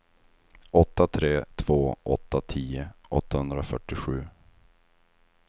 åtta tre två åtta tio åttahundrafyrtiosju